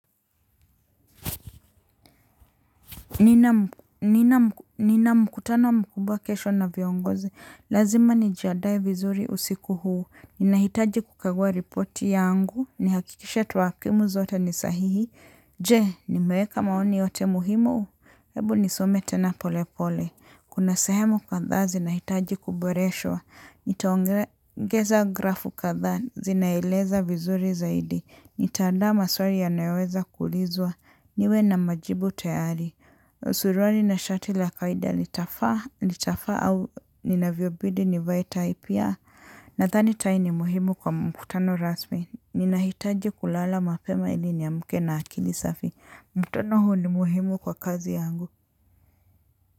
Nina mkutano mkubwa kesho na viongozi, lazima nijiadae vizuri usiku huu, ninahitaji kukagua ripoti yangu, nihakikishe tuwakimu zote ni sahihi, je, nimeweka maoni yote muhimu? Hebu nisome tena pole pole. Kuna sehemu kadhaa zinahitaji kuboreshwa, nitaongeza grafu kadhaa zinaeleza vizuri zaidi, nitaandaa maswari yanayoweza kuulizwa, niwe na majibu tayari. Suruali na shati la faida nitafaa nitafa au ninavyobidi nivae tai pia. Nadhani tai ni muhimu kwa mkutano rasmi. Ninahitaji kulala mapema ili niamke na akili safi. Mkutono huu ni muhimu kwa kazi yangu.